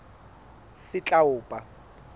setlaopa